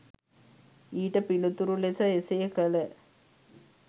ඊට පිළිතුරු ලෙස එසේ කල